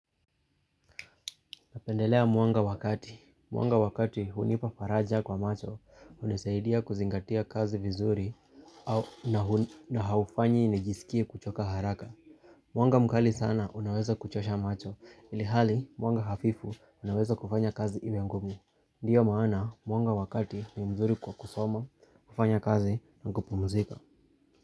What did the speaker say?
Napendelea mwanga wakati. Mwanga wakati hunipa faraja kwa macho, hunisaidia kuzingatia kazi vizuri na haufanyi nijisikie kuchoka haraka. Mwanga mkali sana unaweza kuchosha macho, ilihali mwanga hafifu unaweza kufanya kazi iwe ngumi. Ndiyo maana mwanga wakati ni mzuri kwa kusoma, kufanya kazi na kupumzika.